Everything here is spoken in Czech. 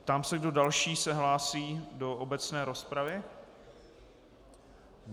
Ptám se, kdo další se hlásí do obecné rozpravy.